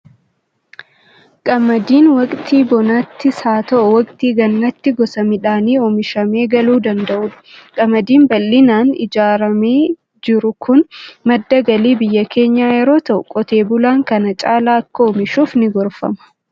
Qamadiin waqtii bonaattis haa ta'u, waqtii gannaatti gosa midhaanii oomishamee galuu danda'udha. Qamadiin bal'inaan ijaaramee jiru kun madda galii biyya keenyaa yeroo ta'u, qotee bulaan kana caalaa akka oomishuuf ni gorfama.